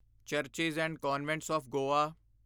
churches and convents of Goa